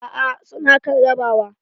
Aa su na kan rabawa.